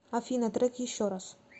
афина трек еще раз